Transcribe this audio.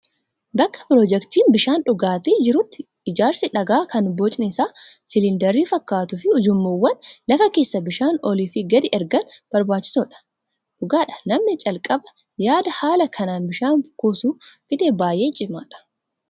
Bakka piroojektiin bishaan dhugaatii jirutti ijaarsi dhagaa kan bocni isaa siliindarii fakkaatuu fi ujummoowwan lafa keessaa bishaan olii fi gadi ergan barbaachisoodha. Dhugaadha namani calqaba yaada haala kanaan bishaan kuusuu fide baay'ee cimaadha.